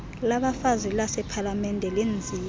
labafazi lasepalamente lenziwe